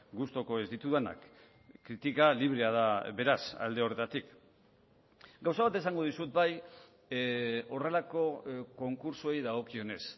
gustuko ez ditudanak kritika librea da beraz alde horretatik gauza bat esango dizut bai horrelako konkurtsoei dagokionez